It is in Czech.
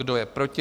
Kdo je proti?